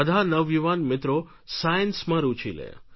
બધા નવયુવાન મિત્રો સાયન્સમાં રૂચિ લે